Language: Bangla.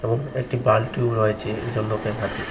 এবং একটি বালটিও রয়েছে একজন লোকের হাতে।